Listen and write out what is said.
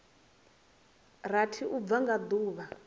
rathi u bva nga duvha